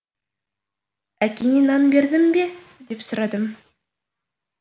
әкеңе нан бердің бе деп сұрадым